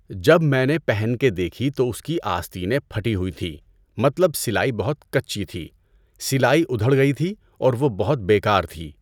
جب میں نے پہن کے دیکھی تو اس کی آستینس پھٹی ہوئی تھی مطلب سلائی بہت کچی تھی، سلائی ادھڑ گئی تھی اور وہ بہت بے کار تھی۔